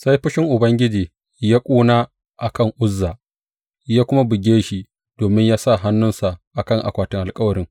Sai fushin Ubangiji ya ƙuna a kan Uzza, ya kuma buge shi domin ya sa hannunsa a kan akwatin alkawarin.